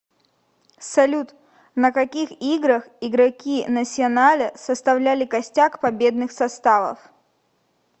салют на каких играх игроки насьоналя составляли костяк победных составов